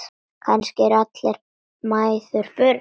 Kannski eru allar mæður börn.